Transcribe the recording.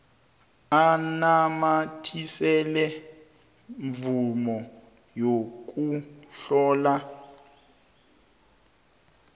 anamathisele imvumo yokuhlala